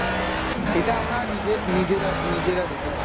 এটা আমরা নিজে~ নিজেরা নিজেরা দেখেছি